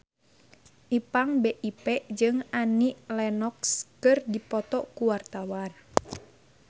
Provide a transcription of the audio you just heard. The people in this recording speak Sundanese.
Ipank BIP jeung Annie Lenox keur dipoto ku wartawan